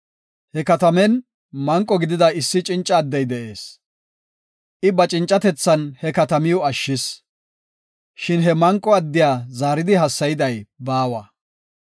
He katamen manqo gidida issi cinca addey de7ees; I ba cincatethan he katamiw ashshis. Shin he manqo addiya zaaridi hassayday baawa.